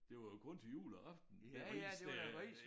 Det var jo kun til juleaften med ris der